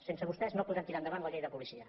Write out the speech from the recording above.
sense vostès no podrem tirar endavant la llei de policia